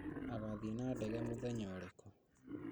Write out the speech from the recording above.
Agathiĩ na ndege mũthenya ũrĩkũ?